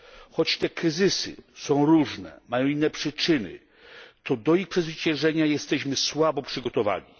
Choć te kryzysy są różne, mają inne przyczyny, to do ich przezwyciężenia jesteśmy słabo przygotowani.